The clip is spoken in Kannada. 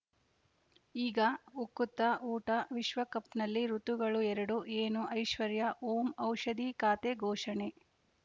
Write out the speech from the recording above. ಈಗ ಉಕುತ ಊಟ ವಿಶ್ವಕಪ್‌ನಲ್ಲಿ ಋತುಗಳು ಎರಡು ಏನು ಐಶ್ವರ್ಯಾ ಓಂ ಔಷಧಿ ಖಾತೆ ಘೋಷಣೆ